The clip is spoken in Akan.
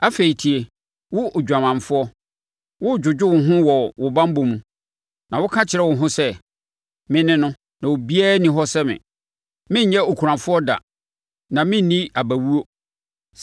“Afei tie, wo odwamanfoɔ, woredwodwo wo ho wɔ wo banbɔ mu na woka kyerɛ wo ho sɛ, ‘me ne no, na obiara nni hɔ sɛ me. Merenyɛ okunafoɔ da na merenni abawuo.’